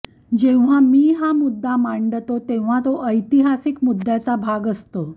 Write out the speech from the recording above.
जेव्हा मी हा मुद्दा मांडतो तेव्हा तो ऐतिहासिक मुद्द्याचा भाग असतो